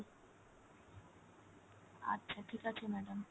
আচ্ছা ঠিক আছে madam